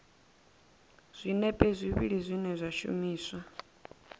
zwinepe zwivhili zwine zwa shumiswa